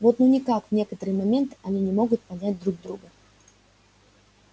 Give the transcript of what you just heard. вот ну никак в некоторые моменты они не могут понять друг друга